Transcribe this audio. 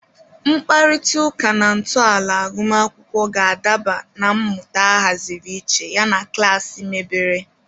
Mkparịta ụka na ntọala agụmakwụkwọ ga-adaba na mmụta ahaziri iche yana klaasị mebere.